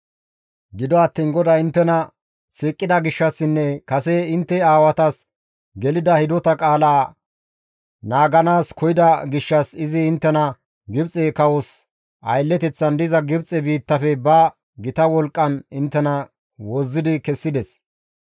Gido attiin GODAY inttena siiqida gishshassinne kase intte aawatas gelida hidota qaala naaganaas koyida gishshas izi inttena Gibxe kawos aylleteththan diza Gibxe biittafe ba gita wolqqan wozzidi kessides.